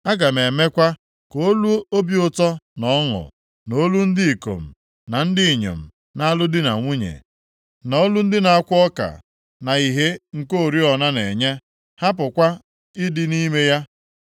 Aga m emekwa ka olu obi ụtọ na ọṅụ, na olu ndị ikom na ndị inyom na-alụ di na nwunye, na olu ndị na-akwọ ọka, na ìhè nke oriọna na-enye, hapụkwa ịdị nʼime ya.